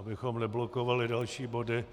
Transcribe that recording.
Abychom neblokovali další body,